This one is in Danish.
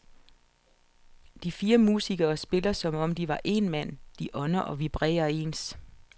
De fire musikere spiller som om de var én mand, de ånder og vibrerer ens.